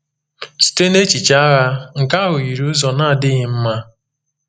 Site n’echiche agha, nke ahụ yiri ụzọ na-adịghị mma.